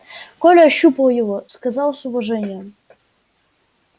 коля ощупал его сказал с уважением